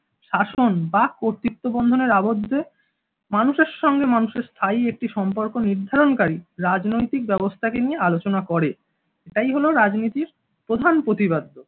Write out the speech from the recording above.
শাসন বা কর্তৃত্ব বন্ধনের আবদ্ধে মানুষের সঙ্গে মানুষের স্থায়ী একটি সম্পর্ক নির্ধারণকারী রাজনৈতিক ব্যবস্থাকে নিয়ে আলোচনা করে। এটাই হলো রাজনীতির প্রধান প্রতিপাদ্য